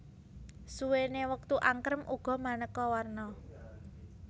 Suwene wektu angkrem uga maneka warna